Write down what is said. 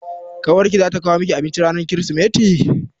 Ƙawar ki za ta kawo miki abinci ranar Kirsimeti?